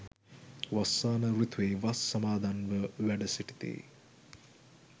වස්සාන ඍතුවේ වස් සමාදන්ව වැඩ සිටිති.